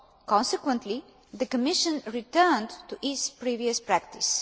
Consequently the Commission returned to its previous practice.